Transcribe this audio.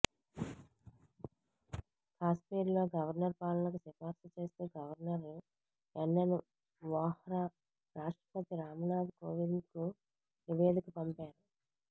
కాశ్మీర్లో గవర్నర్ పాలనకు సిఫార్సు చేస్తూ గవర్నర్ ఎన్ఎన్ వోహ్రా రాష్టప్రతి రామ్నాథ్ కోవింద్కు నివేదిక పంపారు